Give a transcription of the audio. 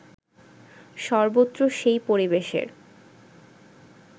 সর্বত্র সেই পরিবেশের